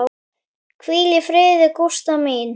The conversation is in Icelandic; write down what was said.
Hvíl í fríði, Gústa mín.